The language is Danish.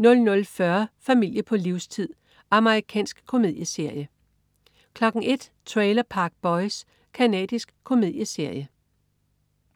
00.40 Familie på livstid. Amerikansk komedieserie 01.00 Trailer Park Boys. Canadisk komedieserie